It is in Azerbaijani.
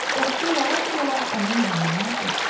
Dəstə yavaş-yavaş onun yanından ötdü.